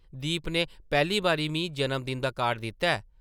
दीप नै पैह्ली बारी मी जन्म-दिन दा कार्ड दित्ता ऐ ।